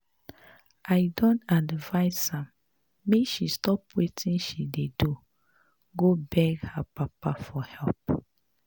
I don advice am make she stop wetin she dey do go beg her papa for help